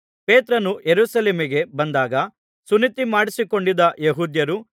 ಪೇತ್ರನು ಯೆರೂಸಲೇಮಿಗೆ ಬಂದಾಗ ಸುನ್ನತಿಮಾಡಿಸಿಕೊಂಡಿದ್ದ ಯೆಹೂದ್ಯರು